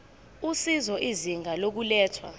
usizo izinga lokulethwa